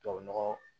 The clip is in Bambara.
Tubabu nɔgɔ